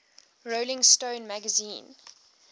rolling stone magazine